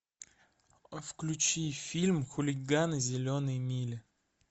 включи фильм хулиганы зеленой мили